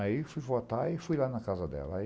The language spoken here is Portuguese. Aí, fui votar e fui lá na casa dela. Aí